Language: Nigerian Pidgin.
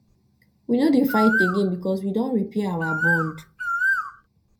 we no dey fight again because we don dey repair our bond